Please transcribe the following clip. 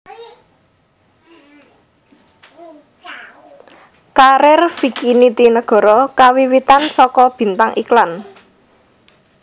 Karir Vicky Nitinegoro kawiwitan saka bintang iklan